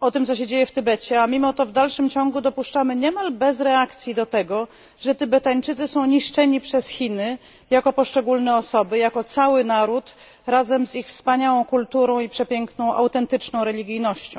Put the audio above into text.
o tym, co się dzieje w Tybecie, a mimo to w dalszym ciągu dopuszczamy niemal bez reakcji do tego, że Tybetańczycy są niszczeni przez Chiny jako poszczególne osoby i jako cały naród razem z ich wspaniałą kulturą i przepiękną autentyczną religijnością.